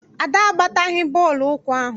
Ada agbataghi bọọlụ ụkwụ ahụ.